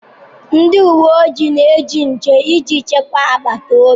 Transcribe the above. Ndị uwe ojii na-eche nche iji chekwaa agbata obi